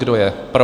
Kdo je pro?